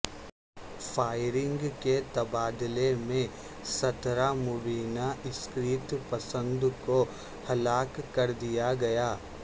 firing کے تبادلے میں سترہ مبینہ عسکریت پسند کو ہلاک کردیا گیا